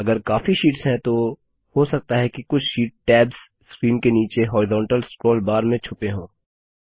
अगर काफी शीट्स हैं तो हो सकता है कि कुछ शीट टैब्स स्क्रीन के नीचे हॉरिज़ान्टल स्क्रोल बार में छुपे हों